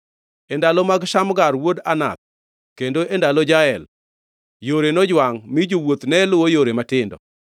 “E ndalo mag Shamgar wuod Anath, kendo e ndalo Jael, yore nojwangʼ, mi jowuoth ne luwo yore matindo.